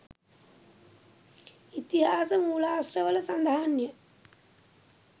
ඉතිහාස මූලාශ්‍රවල සඳහන්ය.